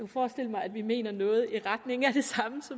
forestille mig at vi mener noget i retning af